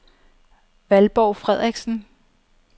Valborg Frederiksen